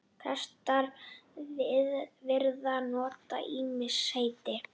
Prestar virðast nota ýmis heiti.